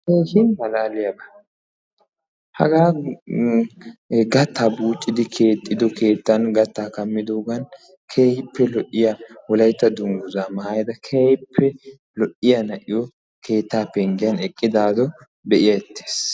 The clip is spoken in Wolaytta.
Keehin malaaliyaaba. hagaa gattaa buuccidi keexxido keettan gattaa kammidogan keehippe lo'iyaa wolaytta dunguzaa maayada keehippe lo'iyaa na'iyoo keettaa penggiyaa eqqidaaro be'ettees.